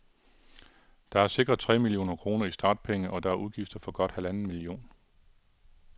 De er sikret tre millioner kroner i startpenge, og der er udgifter for godt halvanden million.